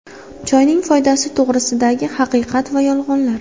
Choyning foydasi to‘g‘risidagi haqiqat va yolg‘onlar.